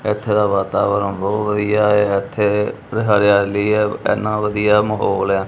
ਇਥੇ ਦਾ ਵਾਤਾਵਰਣ ਬਹੁਤ ਵਧੀਆ ਹੈ ਇਥੇ ਹਰਿਆਲੀ ਹੈ ਇਨਾ ਵਧੀਆ ਮਾਹੌਲ ਹੈ।